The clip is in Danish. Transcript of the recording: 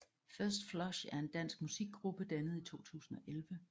First Flush er en dansk musikgruppe dannet 2011